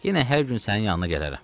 Yenə hər gün sənin yanına gələrəm.